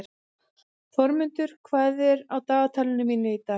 Þormundur, hvað er á dagatalinu mínu í dag?